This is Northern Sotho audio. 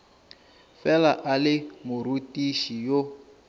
fela a le morutiši yo